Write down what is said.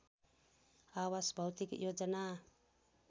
आवास भौतिक योजना